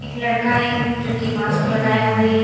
एक लड़का है जो की मास्क लगाए हुए है।